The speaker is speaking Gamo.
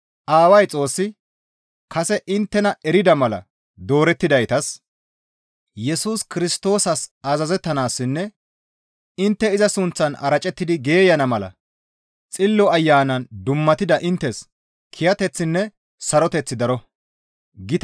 Aaway Xoossi kase inttena erida mala doorettidaytas, Yesus Kirstoosas azazettanaassinne intte iza suuththan aracettidi geeyana mala Xillo Ayanan dummatida inttes kiyateththinne saroteththi daro.